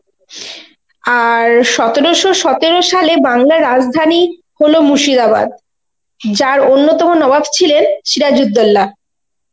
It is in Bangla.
আর সতেরোশ সতেরো সালে বাংলার রাজধানী হলো মুর্শিদাবাদ, যার অন্যতম নবাব ছিলেন সিরাজউদ্দৌলা.